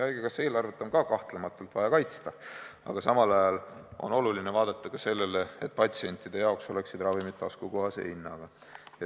Haigekassa eelarvet on kahtlemata vaja kaitsta, aga samal ajal on oluline vaadata ka seda, et patsientide jaoks oleksid ravimid taskukohase hinnaga.